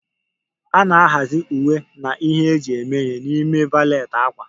A na-ahazi uwe na ihe eji eme ihe n'ime valet ákwà.